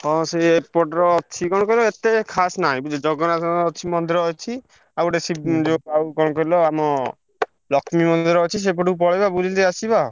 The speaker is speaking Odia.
ହଁ ସିଏ ଏପଟରେ ଅଛି କଣ କହିଲ ଏତେ ଖାସ୍ ନାଁଇ ବୁଝିଲ ଜଗନ୍ନାଥଙ୍କ ଅଛି ମନ୍ଦିର ଅଛି ଆଉ ଗୋଟେ ଶିବ୍ ଆଉ କଣ କହିଲ ଆମ ଲକ୍ଷ୍ମୀ ମନ୍ଦିର ଅଛି ସେଇପଟ କୁ ପଲେଇବା ବୁଲି ଦେଇକି ଆସିବା ଆଉ।